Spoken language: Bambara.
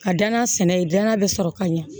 A danna sɛnɛ ye danna bɛ sɔrɔ ka ɲɛ